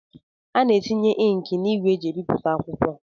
A na-etinyekari inki n'ígwè eji ebipụta akwụkwọ.